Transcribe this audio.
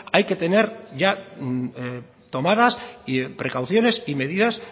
hay que tener ya tomadas precauciones y medidas